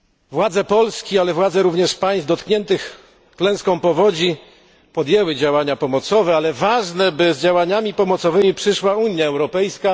Władze Polski, jak również władze innych państw dotkniętych klęską powodzi, podjęły działania pomocowe, ale ważne, by z działaniami pomocowymi przyszła Unia Europejska.